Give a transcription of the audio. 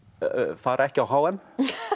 fara ekki á h m